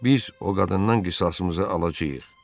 Biz o qadından qisasımızı alacağıq.